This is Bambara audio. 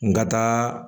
N ka taa